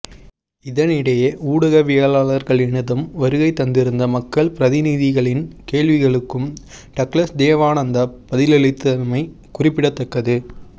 இதனிடையே ஊடகவியலாளர்களினதும் வருகை தந்திருந்த மக்கள் பிரதிநிதிகளின் கேள்விகளுக்கும் டக்ளஸ் தேவானந்தா பதிலளித்திருந்தமை குறிப்பிடத்தக்கது